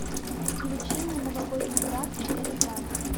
включи мне новогодний брак четыре ка